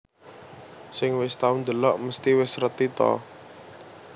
Sing wis tau ndelok mesti wis reti to